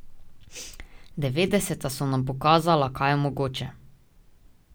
Devetdeseta so nam pokazala, kaj je mogoče.